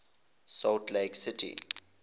salt lake city